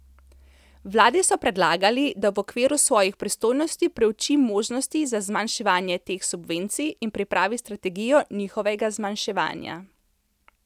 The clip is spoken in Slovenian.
Vladi so predlagali, da v okviru svojih pristojnosti preuči možnosti za zmanjševanje teh subvencij in pripravi strategijo njihovega zmanjševanja.